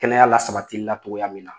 Kɛnɛya lasabatili la cogoya min na